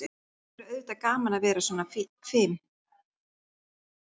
Það væri auðvitað gaman að vera svona fim.